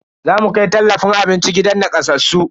Zamu kai tallafin abinci gidan nakasassu.